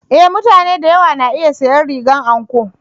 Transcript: E! mutane da yawa na iya sanya rigar anko.